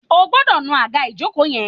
O gbọ́dọ̀ nu àga ìjókòó yen